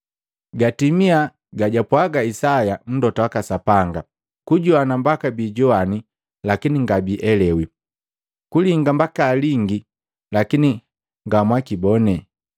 Gatimia gajapwaga Isaya Mlota waka Sapanga, ‘Kujoana mbaka bijowani, lakini ngabielewi. Kulinga mbaka alingi, lakini ngamwakibone.